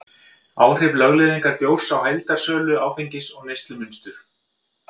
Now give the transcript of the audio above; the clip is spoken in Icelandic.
áhrif lögleiðingar bjórs á heildarsölu áfengis og neyslumynstur